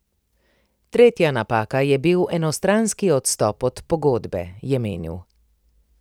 Tretja napaka je bil enostranski odstop od pogodbe, je menil.